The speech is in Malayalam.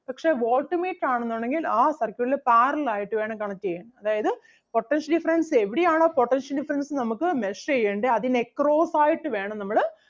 പക്ഷേ voltmeter ആണെന്നുണ്ടെങ്കിൽ ആ circuit ല് parallel ആയിട്ട് വേണം connect ചെയ്യാൻ അതായത് potential difference എവിടെയാണോ potential difference നമുക്ക് measure ചെയ്യണ്ടേ അതിന് across ആയിട്ട് വേണം നമ്മള്